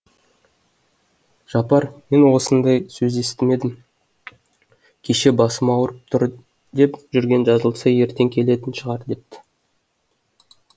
жапар мен ондай сөзді естімедім кеше басым ауырып тұр деп жүрген жазылса ертең келетін шығар депті